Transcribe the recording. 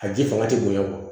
A ji fanga tɛ bonya